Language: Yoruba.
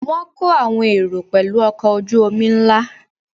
Wọ́n kó àwọn èrò pẹ̀lú ọkọ̀ ojú-omi ńlá